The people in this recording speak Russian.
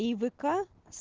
и в к